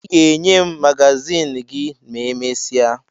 Ị ga-enye m magazin gị ma emesịa